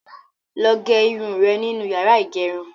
Lọ gẹ irun rẹ nínu yàrá ìgẹrun.